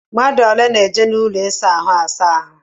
Mmadụ ole na-eji ụlọ ịsa ahụ asa ahụ?